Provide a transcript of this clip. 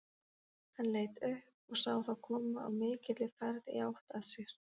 Hann leit upp og sá þá koma á mikilli ferð í átt að sér.